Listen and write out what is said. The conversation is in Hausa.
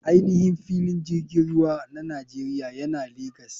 Ainihin filin jirgin ruwa na nigeria yana legas.